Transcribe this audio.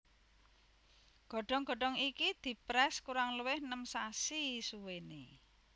Godhong godhong iki diprès kurang luwih nem sasi suwéné